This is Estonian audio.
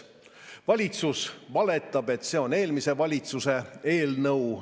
Valitsus valetab, et see on eelmise valitsuse eelnõu.